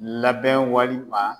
Labɛn walima